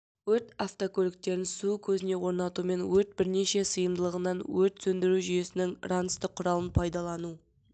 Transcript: өрт автокөліктерін су көзіне орнатумен өрт бірнеше сыйымдылығынан өрт сөндіру жүйесінің ранцті құралын пайдалану